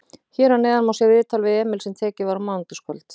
Hér að neðan má sjá viðtal við Emil sem tekið var á mánudagskvöld.